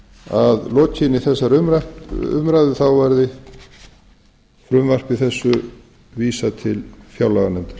að lokinni þessari umræðu verði frumvarpi þessu vísað til fjárlaganefndar